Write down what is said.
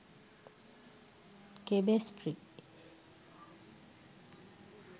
chemistry